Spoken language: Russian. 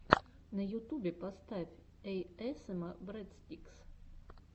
на ютубе поставь эйэсэма брэдстикс